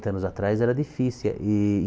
anos atrás era difícil. E e